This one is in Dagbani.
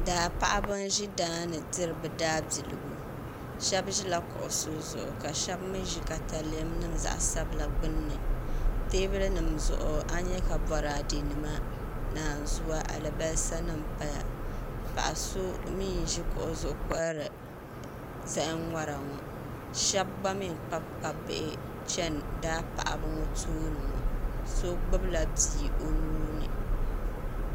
Daa paɣaba n zi daani n diri bi daa biligu shɛbi zila kuɣusi zuɣu ka shɛba mi zi katalɛm zaɣi sabilla gbunni tɛɛbuli nim zuɣu a yɛ ka bɔradɛ nima nanzua alibasa nim paya paɣa so mi nzi kuɣu zuɣu n kɔhiri zahim ŋɔra shɛba gba mi n kpabikpabi bihi chɛni daa paɣaba ŋɔ tooniŋɔ so gbubila bia o nuuni.